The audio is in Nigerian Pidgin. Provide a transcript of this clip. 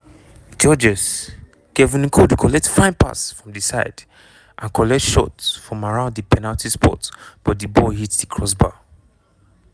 georges-kevin n'koudou collect fine pass from di side and shoot from around di penalty spot but di ball hit di crossbar.